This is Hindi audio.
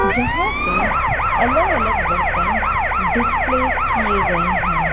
जहां पे अलग अलग बर्तन डिस्प्ले किए गएं हैं।